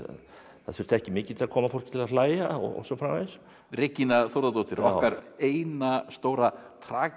það þurfti ekki mikið til að koma fólki til að hlæja og svo framvegis Regína Þórðardóttir okkar eina stóra